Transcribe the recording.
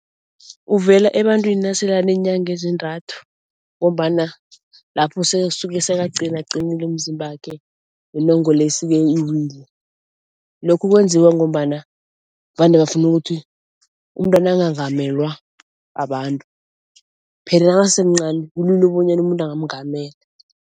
Uvela ebantwini nasele aneenyanga ezintathu, ngombana lapho sekasuke sekaqinaqinile umzimbakhe, inongo le isuke iwile. Lokhu kwenziwa ngombana vane bafuna ukuthi umtwana angangamelwa abantu, phela nakasemncani kulula bonyana umuntu angamungamela.